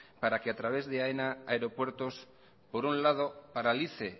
para que a través de aena aeropuertos por un lado paralice